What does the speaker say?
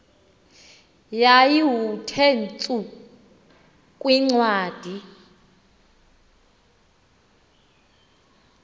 yayiwnthe tsu kwincwadi